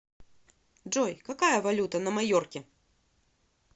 джой какая валюта на майорке